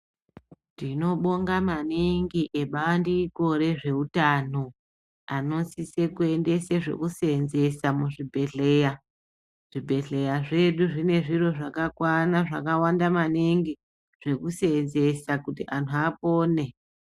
Tinobonga maningi ngebandiko rezveutano vanosisa kiendesa zveku seenzesa muzvi bhehleya zvedu zvine zviro zvakakwana zvakawanda maningi zveku seenzesa kuti antu apone.